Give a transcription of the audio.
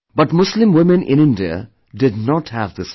But Muslim women in India did not have this right